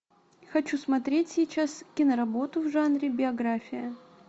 хочу смотреть сейчас киноработу в жанре биография